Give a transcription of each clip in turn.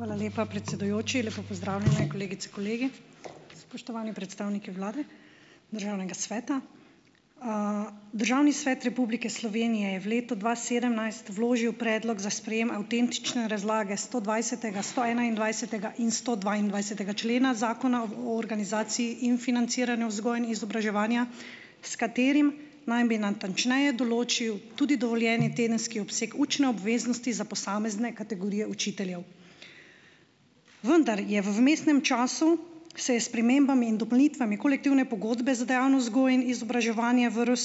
Hvala lepa, predsedujoči. Lepo pozdravljene kolegice, kolegi! Spoštovani predstavniki vlade, Državnega sveta. Državni svet Republike Slovenije je v letu dva sedemnajst vložil predlog za sprejem avtentične razlage stodvajsetega, stoenaindvajsetega in stodvaindvajsetega člena Zakona o, o organizaciji in financiranju vzgoje in izobraževanja, s katerim naj bi natančneje določil tudi dovoljeni tedenski obseg učne obveznosti za posamezne kategorije učiteljev. Vendar je v vmesnem času se spremembami in dopolnitvami kolektivne pogodbe za dejavnost vzgoje in izobraževanja v RS,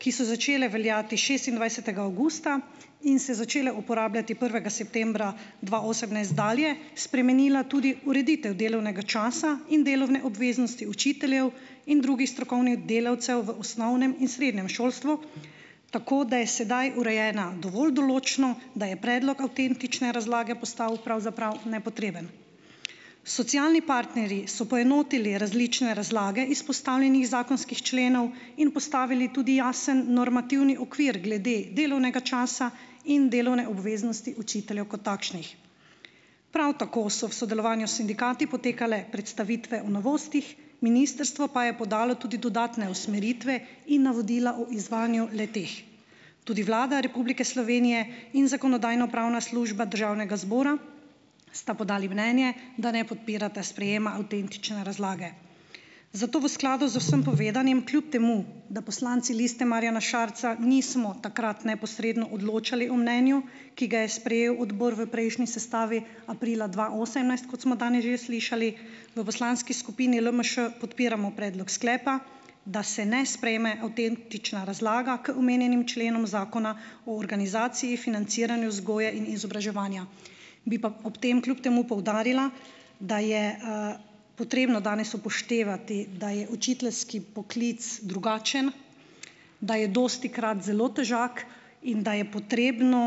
ki so začele veljati šestindvajsetega avgusta in se začele uporabljati prvega septembra dva osemnajst dalje, spremenila tudi ureditev delovnega časa in delovne obveznosti učiteljev in drugih strokovnih delavcev v osnovnem in srednjem šolstvu, tako da je sedaj urejena dovolj določno, da je predlog avtentične razlage postal pravzaprav nepotreben. Socialni partnerji so poenotili različne razlage izpostavljenih zakonskih členov in postavili tudi jasen normativni okvir glede delovnega časa in delovne obveznosti učiteljev kot takšnih. Prav tako so v sodelovanju s sindikati potekale predstavitve v novostih, ministrstvo pa je podalo tudi dodatne usmeritve in navodila o izvajanju le-teh. Tudi Vlada Republike Slovenije in Zakonodajno-pravna služba Državnega zbora sta podali mnenje, da ne podpirata sprejema avtentične razlage. Zato v skladu z vsem povedanim kljub temu, da poslanci Liste Marjana Šarca nismo takrat neposredno odločali o mnenju, ki ga je sprejel odbor v prejšnji sestavi, aprila dva osemnajst, kot smo danes že slišali, v poslanski skupini LMŠ podpiramo predlog sklepa, da se ne sprejme avtentična razlaga k omenjenim členom zakona o organizaciji, financiranju vzgoje in izobraževanja. Bi pa ob tem kljub temu poudarila, da je, potrebno danes upoštevati, da je učiteljski poklic drugačen, da je dostikrat zelo težak, in da je potrebno,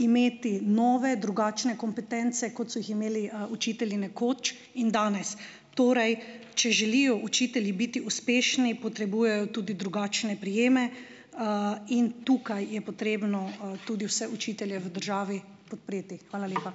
imeti nove, drugačne kompetence, kot so jih imeli, učitelji nekoč in danes. Torej, če želijo učitelji biti uspešni, potrebujejo tudi drugačne prijeme, in tukaj je potrebno, tudi vse učitelje v državi podpreti. Hvala lepa.